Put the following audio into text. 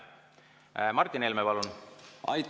Martin Helme, palun!